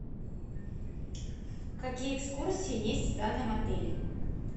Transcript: какие экскурсии есть в данном отеле